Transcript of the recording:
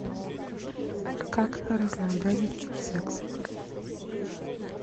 как разнообразить секс